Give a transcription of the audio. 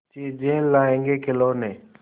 चीजें लाएँगेखिलौने